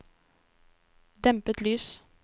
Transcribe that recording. dempet lys